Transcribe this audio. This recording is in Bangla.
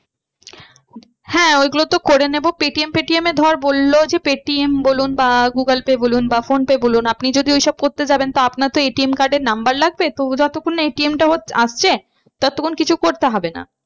হ্যাঁ ওইগুলো তো করে নেবো পেটিএম ফেটিএম এ ধর বললো যে পেটিএম বলুন বা গুগল পে বলুন বা ফোন পে বলুন আপনি যদি ওই সব করতে যাবেন তো আপনার তো ATM card এর number লাগবে তো যতক্ষণ না ATM টা হচ্ছে, আসছে ততক্ষন কিছু করতে হবে না।